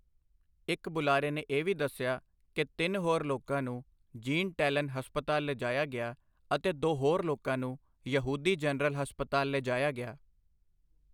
ਇਕ ਬੁਲਾਰੇ ਨੇ ਇਹ ਵੀ ਦੱਸਿਆ ਕਿ ਤਿੰਨ ਹੋਰ ਲੋਕਾਂ ਨੂੰ ਜੀਨ ਟੈਲਨ ਹਸਪਤਾਲ ਲਿਜਾਇਆ ਗਿਆ ਅਤੇ ਦੋ ਹੋਰ ਲੋਕਾਂ ਨੂੰ ਯਹੂਦੀ ਜਨਰਲ ਹਸਪਤਾਲ ਲਿਜਾਇਆ ਗਿਆ।